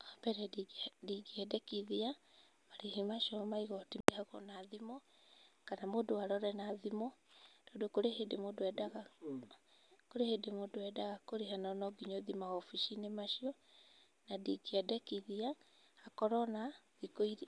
Wa mbere ndingĩendekithia marĩhi macio ma igoti marĩhwo na thimũ, kana mũndũ arore na thimũ. Tondũ kurĩ hĩndĩ mũndũ endaga kũrĩha na no nginya ũthiĩ mawobici-inĩ macio. Na ndingĩendekithia